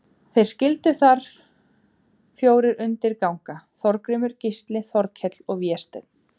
Þeir skyldu þar fjórir undir ganga, Þorgrímur, Gísli, Þorkell og Vésteinn.